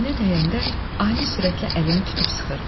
Əlinə dəyəndə ani sürətlə əlimi tutub sıxırdı.